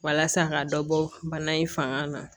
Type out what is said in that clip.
Walasa ka dɔ bɔ bana in fanga na